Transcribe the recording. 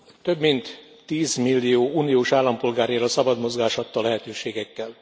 Több mint 10 millió uniós állampolgár él a szabad mozgás adta lehetőségekkel.